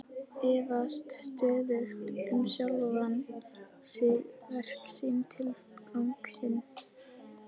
Efast stöðugt um sjálfan sig, verk sín, tilgang sinn.